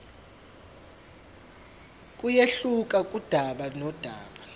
kuyehluka kudaba nodaba